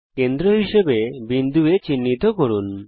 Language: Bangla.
কেন্দ্র হিসাবে একটি বিন্দু A চিহ্নিত করুন